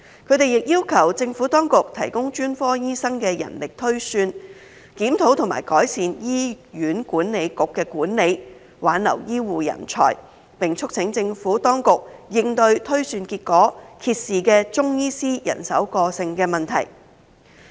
他們亦要求政府當局提供專科醫生的人力推算，檢討及改善醫院管理局的管理，挽留醫護人才，並促請政府當局應對推算結果揭示的中醫師人手過剩問題。